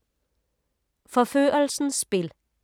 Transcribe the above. Forførelsens spil